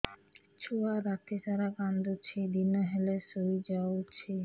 ଛୁଆ ରାତି ସାରା କାନ୍ଦୁଚି ଦିନ ହେଲେ ଶୁଇଯାଉଛି